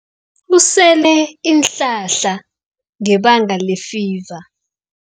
Usele iinhlahla ngebanga lefiva.